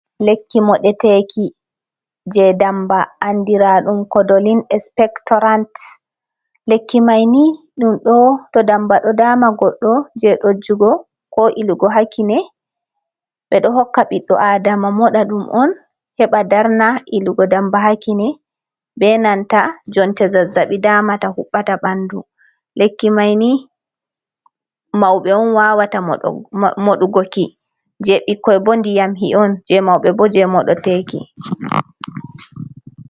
Lekki moɗeteki je damba andira ɗum kodolin spector ant, lekki maini ɗum to damba ɗo dama goɗɗo je ɗojugo, ko ilugo ha kine, ɓe ɗo hokka ɓiɗdo adama moɗa ɗum on heɓa darna ilugo damba ha kine, be nanta jonte zazabi damata huɓata ɓanɗu, lekki mai ni mauɓe on wawata moɗugoki, je ɓikkoi bo ndiyamhi on je mauɓe bo je moɗeteki.